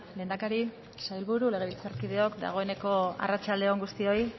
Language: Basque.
lehendakari sailburu legebiltzarkideok dagoeneko arratsalde on guztioi